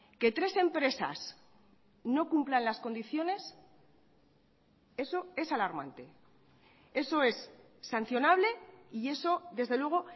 que tres empresas no cumplan las condiciones eso es alarmante eso es sancionable y eso desde luego